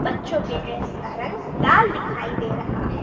बच्चों के ड्रेस का रंग लाल दिखाई दे रहा है।